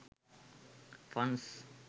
funs